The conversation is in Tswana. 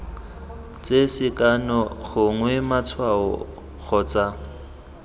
tse sekano gongwe matshwao kgotsa